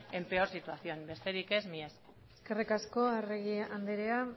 en peor situación besterik ez mila esker eskerrik asko arregi andrea